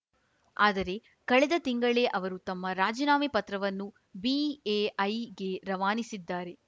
ಆದರೆ ಕಳೆದ ತಿಂಗಳೇ ಅವರು ತಮ್ಮ ರಾಜೀನಾಮೆ ಪತ್ರವನ್ನು ಬಿಎಐಗೆ ರವಾನಿಸಿದ್ದಾರೆ